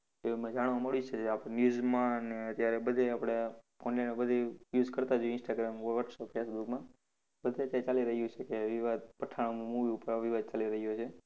એમ જાણવા મળ્યું છે. આપ news માં ને અત્યારે બધે આપડે, phone બધે use કરતા જ હોઈ Instagram, WhatsApp, Facebook માં. બધે અત્યારે ચાલી રહ્યું છે કે વિવાદ, પઠાણ movie ઉપર આવો વિવાદ ચાલી રહ્યો છે.